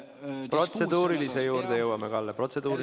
Kas protseduurilise küsimuse juurde ka jõuame, Kalle?